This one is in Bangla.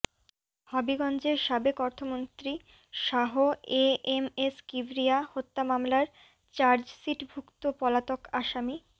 হবিগঞ্জে সাবেক অর্থমন্ত্রী Shah A M S Kibria হত্যা মামলার চার্জশিটভুক্ত পলাতক আসামি